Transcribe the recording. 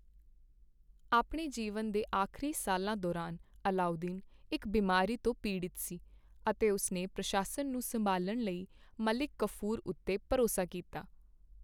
ਆਪਣੇ ਜੀਵਨ ਦੇ ਆਖਰੀ ਸਾਲਾਂ ਦੌਰਾਨ, ਅਲਾਊਦੀਨ ਇੱਕ ਬਿਮਾਰੀ ਤੋਂ ਪੀੜਤ ਸੀ, ਅਤੇ ਉਸ ਨੇ ਪ੍ਰਸ਼ਾਸਨ ਨੂੰ ਸੰਭਾਲਣ ਲਈ ਮਲਿਕ ਕਾਫੂਰ ਉੱਤੇ ਭਰੋਸਾ ਕੀਤਾ।